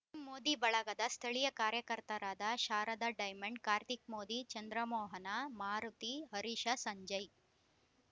ಮ್ ಮೋದಿ ಬಳಗದ ಸ್ಥಳೀಯ ಕಾರ್ಯಕರ್ತರಾದ ಶಾರದಾ ಡೈಮಂಡ್‌ ಕಾರ್ತಿಕ್‌ ಮೋದಿ ಚಂದ್ರಮೋಹನ ಮಾರುತಿ ಹರೀಶ ಸಂಜಯ್‌